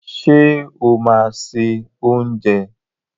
Ṣé o máa se oúnjẹ?